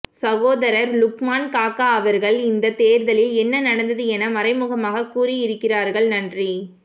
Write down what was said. சகோதரர் லுக்மான் காக்கா அவர்கள் இந்த தேர்தலில் என்ன நடந்தது என மறைமுகமாக கூறி இருக்கிறார்கள் நன்றி